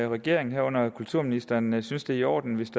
regeringen herunder kulturministeren synes det er i orden hvis